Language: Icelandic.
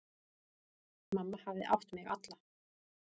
Mamma hafði átt mig alla.